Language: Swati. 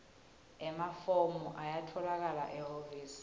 emafomu ayatfolakala ehhovisi